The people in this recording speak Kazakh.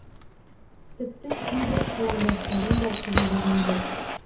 тіпті кейбір қаламдастарым да қабылдаған жоқ